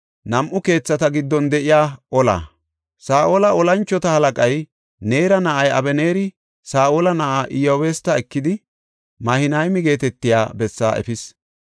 Saa7ola tora moconay Neera na7ay Abeneeri Saa7ola na7aa Iyabuste ekidi, Mahinayma geetetiya bessaa efis.